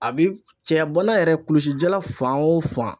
A bi cɛya bana yɛrɛ, kulusijala fan o fan.